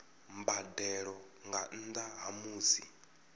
mbadelo nga nnda ha musi